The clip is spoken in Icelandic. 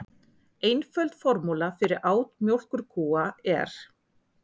Einföld formúla fyrir át mjólkurkúa er: